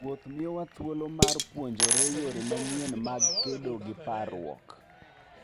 Wuoth miyowa thuolo mar puonjore yore manyien mag kedo gi parruok.